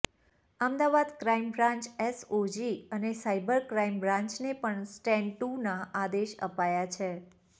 Ahmedabad crime branch SOG અને cyber crime બ્રાન્ચને પણ સ્ટેન્ડ ટુના આદેશ અપાયા છે